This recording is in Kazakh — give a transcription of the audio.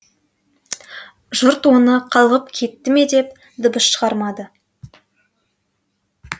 жұрт оны қалғып кетті ме деп дыбыс шығармады